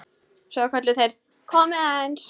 Svo kölluðu þeir: Komiði aðeins!